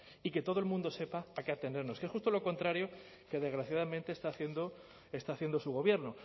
y que todo el mundo sepa a qué atenernos que es justo lo contrario que desgraciadamente está haciendo está haciendo su gobierno